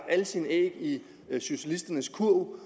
alle sine æg i socialisternes kurv